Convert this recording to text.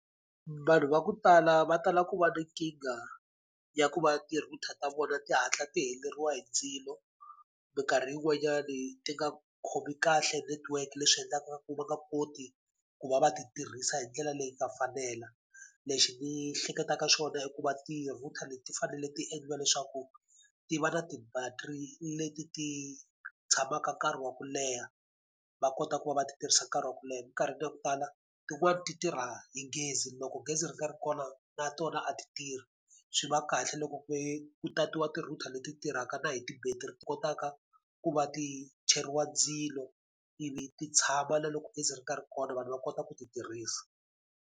Vanhu va ku tala va tala ku va na nkingha ya ku va ti-router ta vona ti hatla ti heleriwa hi ndzilo. Minkarhi yin'wanyani ti nga khomi kahle network leswi endlaka ku va nga koti ku va va ti tirhisa hi ndlela leyi nga fanela. Lexi ni hleketaka xona i ku va ti-router leti ti fanele ti endliwa leswaku ti va na ti-battery leti ti tshamaka nkarhi wa ku leha, va kota ku va va ti tirhisa nkarhi wa ku leha. Minkarhini ya ku tala tin'wani ti tirha hi gezi loko gezi ri nga ri kona na tona a ti tirhi, swi va kahle loko ku tatiwa ti-router leti tirhaka na hi ti-battery ti kotaka ku va ti cheriwa ndzilo ivi ti tshama na loko gezi ri nga ri kona vanhu va kota ku ti tirhisa.